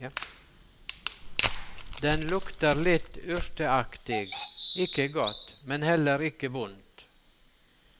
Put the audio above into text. Den lukter litt urteaktig, ikke godt, men heller ikke vondt.